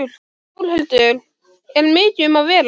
Þórhildur, er mikið um að vera?